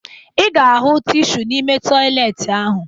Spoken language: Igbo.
Ị ga-ahụ tishu n'ime tọyịleetị ahụ